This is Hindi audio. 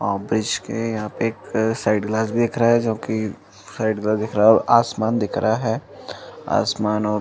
और ब्रिज के यहाँ पे (पर) एक साइड ग्लास दिख रहा है जो कि साइड ग्लास दिख रहा है और आसमान दिख रहा है। आसमान और--